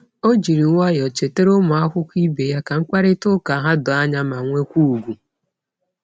O jiri nwayọọ chetara ụmụakwụkwọ ibe ya ka mkparịtaụka ha doo anya ma nwekwa ùgwù.